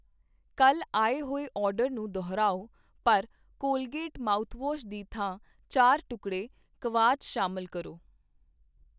ਕੱਲ੍ਹ ਆਏ ਹੋਏ ਆਰਡਰ ਨੂੰ ਦੁਹਰਾਓ ਪਰ ਕੋਲਗੇਟ ਮਾਉਥਵਾਸ਼ ਦੀ ਥਾਂ ਚਾਰ ਟੁਕੜੇ ਕਵਾਚ ਸ਼ਾਮਲ ਕਰੋ।